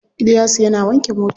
Iliyasu yana wanke mota.